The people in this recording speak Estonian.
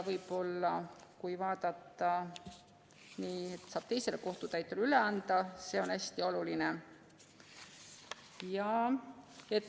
See, et saab teisele kohtutäiturile üle anda, on hästi oluline.